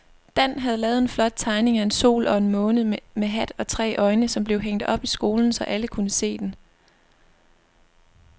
Dan havde lavet en flot tegning af en sol og en måne med hat og tre øjne, som blev hængt op i skolen, så alle kunne se den.